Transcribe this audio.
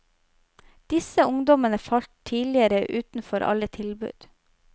Disse ungdommene falt tidligere utenfor alle tilbud.